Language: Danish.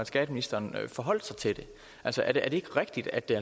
skatteministeren forholdt sig til det altså er det ikke rigtigt at det